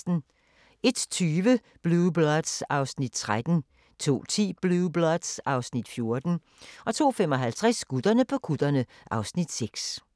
01:20: Blue Bloods (Afs. 13) 02:10: Blue Bloods (Afs. 14) 02:55: Gutterne på kutterne (Afs. 6)